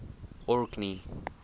orkney